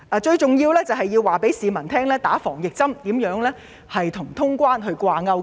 最重要的是，政府應告訴市民接種疫苗如何與通關掛鈎。